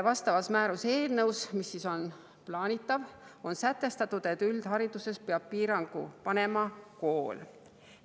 Vastavas määruse eelnõus, mida plaanitakse, on sätestatud, et üldhariduses peab piirangu panema kool.